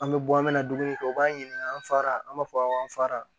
An bɛ bɔ an bɛ na dumuni kɛ u b'a ɲininka an fara an b'a fɔ awɔ an fara